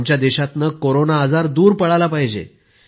आमच्या देशातनं कोरोना आजार दूर पळाला पाहिजे